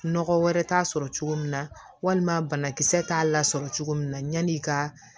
Nɔgɔ wɛrɛ t'a sɔrɔ cogo min na walima banakisɛ t'a la sɔrɔ cogo min na yani i ka